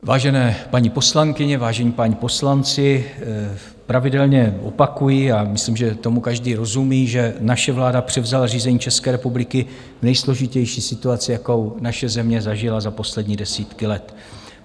Vážené paní poslankyně, vážení páni poslanci, pravidelně opakuji, a myslím, že tomu každý rozumí, že naše vláda převzala řízení České republiky v nejsložitější situaci, jakou naše země zažila za poslední desítky let.